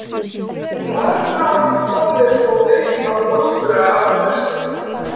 Morðmál komu þó upp á nokkurra ára fresti.